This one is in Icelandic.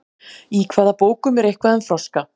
í hvaða bókum er eitthvað um froska